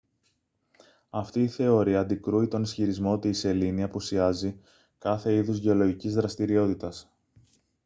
αυτή η θεωρεία αντικρούει τον ισχυρισμό ότι η σελήνη απουσιάζει κάθε είδους γεωλογικής δραστηριότητας